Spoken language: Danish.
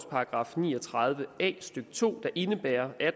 § ni og tredive a stykke to der indebærer at